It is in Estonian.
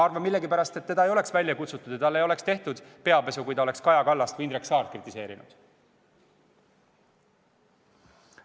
Ma millegipärast arvan, et teda ei oleks välja kutsutud ja talle ei oleks tehtud peapesu, kui ta oleks kritiseerinud Kaja Kallast või Indrek Saart.